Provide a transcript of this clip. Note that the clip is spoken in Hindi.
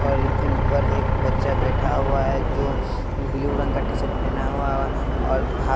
इन पर एक बच्चा बैठा हुआ है जो ब्लू रंग का टीशर्ट पहना हुआ और।